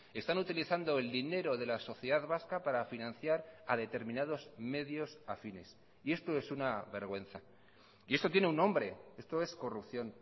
están utilizando el dinero de la sociedad vasca para financiar a determinados medios afines y esto es una vergüenza y esto tiene un nombre esto es corrupción